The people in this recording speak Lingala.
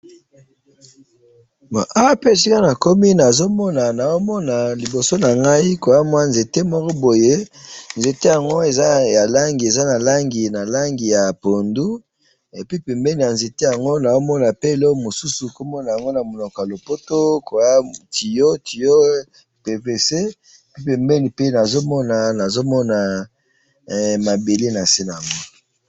Nazomona liboso nangayi mwanzete moko boye eza nalangi ya pondu, pembeni ya nzete nazomona tiyau PVC, pembeni mpe mabele nase nango.